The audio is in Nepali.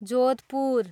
जोधपूर